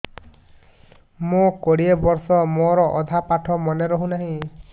ମୋ କୋଡ଼ିଏ ବର୍ଷ ମୋର ଅଧା ପାଠ ମନେ ରହୁନାହିଁ